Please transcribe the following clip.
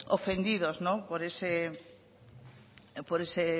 ofendidos por ese